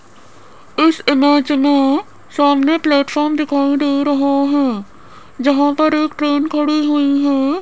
इस इमेज मे सामने प्लेटफॉर्म दिखाई दे रहा है जहां पर एक ट्रेन खड़ी हुई है।